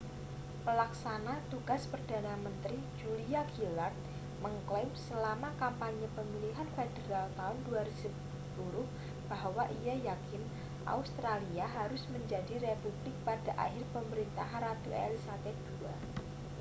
pelaksana tugas perdana menteri julia gillard mengeklaim selama kampanye pemilihan federal tahun 2010 bahwa ia yakin australia harus menjadi republik pada akhir pemerintahan ratu elizabeth ii